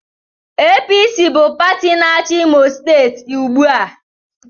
APC bụ pati na-achi Imo steeti ugbu a.